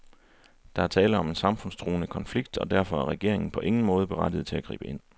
Der er tale om en samfundstruende konflikt, og derfor er regeringen på ingen måde berettiget til at gribe ind.